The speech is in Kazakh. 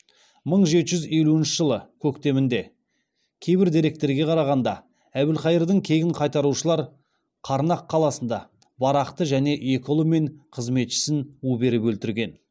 мың жеті жүз елуінші жылы көктемінде кейбір деректерге қарағанда әбілқайырдың кегін қайтарушылар қарнақ қаласында барақты және екі ұлы мен қызметшісін у беріп өлтірген